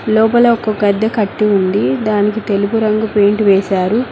లోపల ఒక గడ్డె కట్టి ఉంది దానికి తెలుపు రంగు పెయింట్ వేశారు.